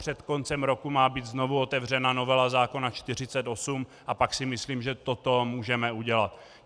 Před koncem roku má být znovu otevřena novela zákona 48 a pak si myslím, že toto můžeme udělat.